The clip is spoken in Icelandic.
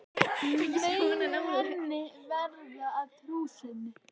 Megi henni verða að trú sinni.